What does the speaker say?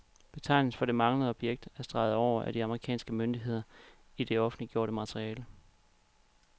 Betegnelsen for det manglende objekt er streget over af de amerikanske myndigheder i det offentliggjorte materiale.